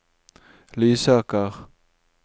Lysaker